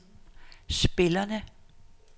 spillerne